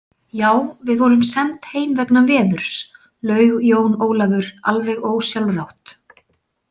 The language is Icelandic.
Já, við vorum send heim vegna veðurs, laug Jón Ólafur alveg ósjálfrátt.